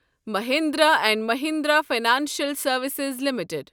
Mahindra and Mahindra financial services limited